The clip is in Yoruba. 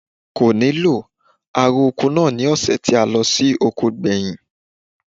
Kò nílò, a ro oko náà ni ọ̀sè tí a lọ oko gbẹ̀yìn.